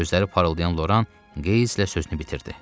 Gözləri parıldayan Loran qeyzlə sözünü bitirdi.